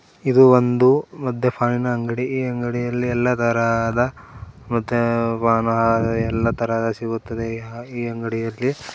ಇದು ಒಂದು ಮಧ್ಯಪಾನಿನ ಅಂಗಡಿ ಈ ಅಂಗಡಿಯಲ್ಲಿ ಎಲ್ಲಾ ದಾರಾದ ಎಲ್ಲ ತರಹದ ಮತ್ತೆ ಎಲ್ಲ ತರ ಸಿಗುತ್ತದೆ ಈ ಅಂಗಡಿಯಲ್ಲಿ.